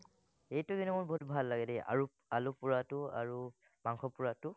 এইটো কিন্তু মোৰ বহুত ভাল লাগে দেই, আৰু আলু পোৰাটো, আৰু মাংস পোৰাটো